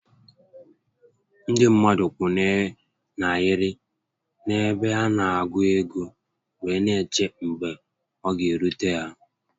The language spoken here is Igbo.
Ndị mmadụ kwụ na ahịrị n'ebe a na-agụ ego wee n'eche mgbe ọ ga-erute ha